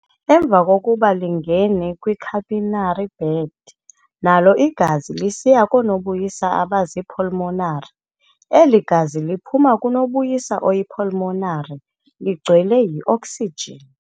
Emva kokuba lingene kwi-capillary bed, nalo igazi lisiya koo-nobuyisa abazii-pulmonary Eli gazi liphuma kunobuyisa oyi-"pulmonary ligcwele yi-oksijin".